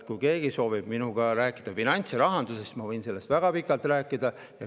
Kui keegi soovib minuga rääkida finants, rahandusest, siis ma võin sellest väga pikalt rääkida.